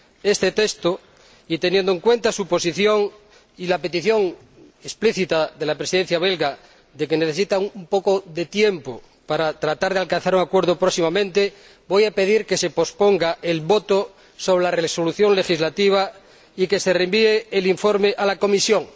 este texto y, teniendo en cuenta su posición y la petición explícita de la Presidencia belga de que necesita un poco de tiempo para tratar de alcanzar un acuerdo próximamente, voy a pedir que se posponga la votación del proyecto de resolución legislativa y que se devuelva el informe a comisión.